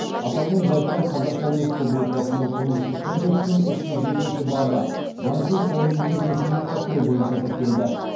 аталған жайттар қазақстан республикасының қылмыстық кодексінің үш жүз жетіінші бабы заңсыз ойын бизнесін ұйымдастыру бойынша тіркелді